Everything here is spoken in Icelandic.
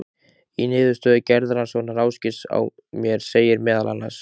Í niðurstöðu geðrannsóknar Ásgeirs á mér segir meðal annars